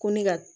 Ko ne ka